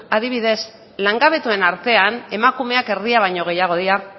adibidez langabetuen artean emakumeak erdia baino gehiago dira